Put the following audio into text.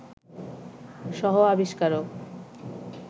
সহ-আবিষ্কারক